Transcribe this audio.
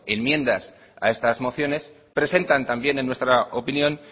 enmiendas a estas mociones presentan también en nuestra opinión